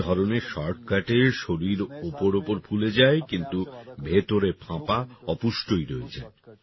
এই ধরনের শর্টকাটে শরীর ওপর ওপর ফুলে যায় কিন্তু ভেতরে ফাঁপা অপুষ্টই রয়ে যায়